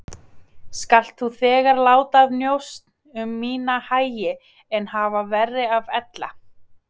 Skalt þú þegar láta af njósn um mína hagi en hafa verra af ella.